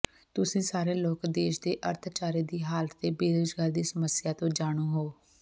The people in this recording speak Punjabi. ਤੁਸੀਂ ਸਾਰੇ ਲੋਕ ਦੇਸ਼ ਦੇ ਅਰਥਚਾਰੇ ਦੀ ਹਾਲਤ ਤੇ ਬੇਰੁਜ਼ਗਾਰੀ ਦੀ ਸਮੱਸਿਆ ਤੋਂ ਜਾਣੂ ਹੋ